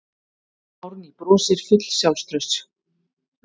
Árný brosir full sjálfstrausts.